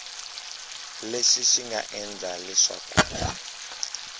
lexi xi nga endla leswaku